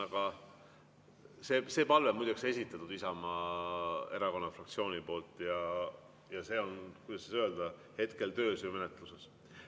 Aga see palve on esitatud Isamaa fraktsiooni poolt ja see on, kuidas öelda, hetkel töös ja menetluses.